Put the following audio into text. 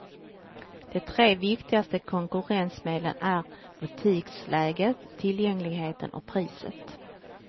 De tre viktigaste konkurrensmedlen är butiksläget, tillgängligheten och priset.